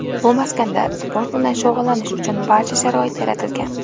Bu maskanda sport bilan shug‘ullanish uchun barcha sharoit yaratilgan.